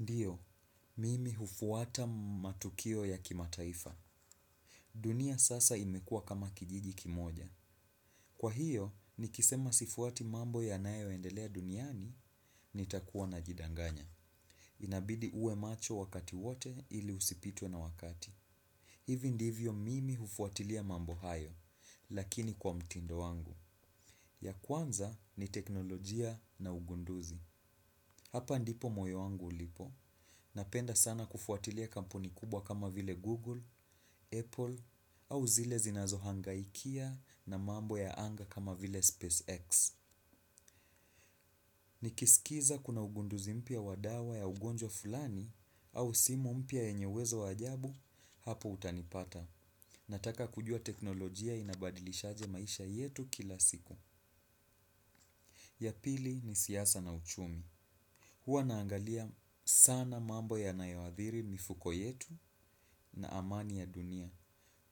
Ndiyo, mimi hufuata matukio ya kimataifa. Dunia sasa imekua kama kijiji kimoja. Kwa hiyo, nikisema sifuati mambo yanayoendelea duniani, nitakuwa najidanganya. Inabidi uwe macho wakati wote ili usipitwe na wakati. Hivi ndivyo mimi hufuatilia mambo hayo, lakini kwa mtindo wangu. Ya kwanza ni teknolojia na ugunduzi. Hapa ndipo moyo wangu ulipo, napenda sana kufuatilia kampuni kubwa kama vile Google, Apple, au zile zinazohangaikia na mambo ya anga kama vile SpaceX. Nikisikiliza kuna ugunduzi mpya wa dawa ya ugonjwa fulani au simu mpya yenyeuwezo wa ajabu, hapo utanipata. Nataka kujua teknolojia inabadilishaje maisha yetu kila siku. Ya pili ni siasa na uchumi. Huwa naangalia sana mambo yanayoathiri mifuko yetu na amani ya dunia.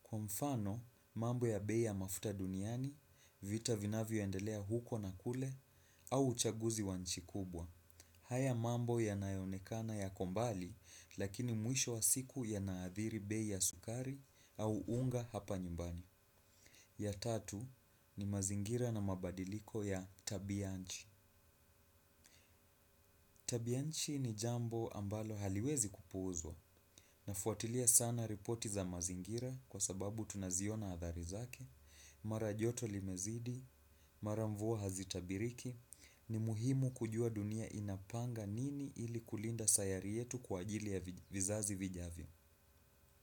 Kwa mfano, mambo ya bei ya mafuta duniani, vita vinavyoendelea huko na kule, au uchaguzi wa nchi kubwa. Haya mambo yanayoonekana yako mbali, lakini mwisho wa siku yanayaathiri bei sukari au unga hapa nyumbani. Ya tatu ni mazingira na mabadiliko ya tabianchi. Tabianchi ni jambo ambalo haliwezi kupuuzwa nafuatilia sana ripoti za mazingira kwa sababu tunaziona athari zake, mara joto limezidi, mara mvua hazitabiriki, ni muhimu kujua dunia inapanga nini ili kulinda sayari yetu kwa ajili ya vizazi vijavyo.